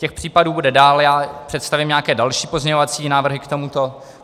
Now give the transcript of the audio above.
Těch případů bude dál, já představím nějaké další pozměňovací návrhy k tomuto.